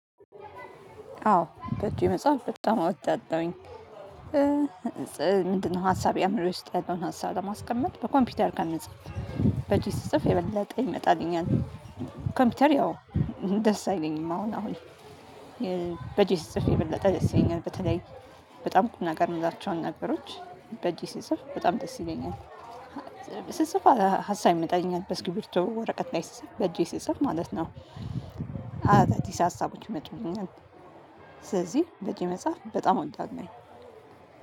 አዎ በእጄ መጽሐፍ በጣም እወዳለሁኝ ምንድነው ሀሳብ ያምረው ይስጥ ያለውን ሀሳብ ለማስቀመጥ በኮምፒውተር ከምፃፍ። በእጄ ጽፍ የበለጠ ይመጣልኛል ኮምፒውተር ያው ደስ አይለኝም አሁን አሁን በእጄ ስጽፍ የበለጠ ደስ ይለኛል በተለይ በጣም ቁም ነገር የምላቸውን ነገሮች በእጄ ስጽፍ በጣም ደስ ይለኛል ሲጽፍ ሀሳብ ይመጣኛል በስኪብር ወረቀት ላይ በጄ ሲጸፍ ማለት ነው አይ ታዲስ ሀሳቦች ይመጣኛል በዚህ መጽሐፍ በጣም እወዳለሁኝ